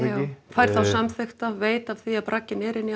er þá samþykkt veit af því að bragginn er inni í